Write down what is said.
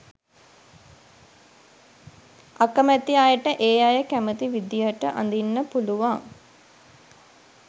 අකැමැති අයට ඒ අය කැමති විදිහට අඳින්න පුළුවන්